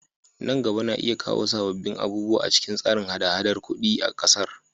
Nan gaba na iya kawo sabbin abubuwa a cikin tsarin haɗa-haɗar kudi na kasar.